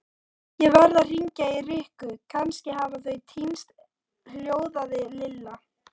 Ég verð að hringja í Rikku, kannski hafa þau týnst hljóðaði Lilla.